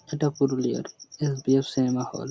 এটা পুরুলিয়ার S B F cinema hall.